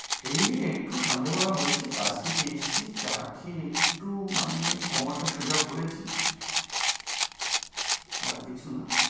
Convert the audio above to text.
এই একটু সন্ধ্যা বেলা হয়ছে কাজ থেকে এসছি চা খেয়ে একটু মানে কোমরটা সোজা করেছি আর কিছু না।